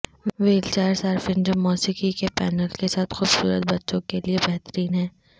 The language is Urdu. وہیلچائر صارفین جو موسیقی کے پینل کے ساتھ خوبصورت بچوں کے لئے بہترین ہیں